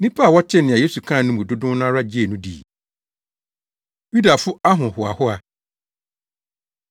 Nnipa a wɔtee nea Yesu kaa no mu dodow no ara gyee no dii. Yudafo Ahohoahoa